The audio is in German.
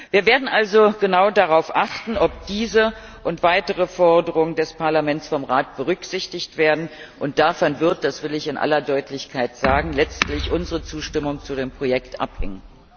Wir werden also genau darauf achten, ob diese und weitere Forderungen des Parlaments vom Rat berücksichtigt werden, und davon wird das will ich in aller Deutlichkeit sagen letztlich unsere Zustimmung zu dem Projekt abhängen.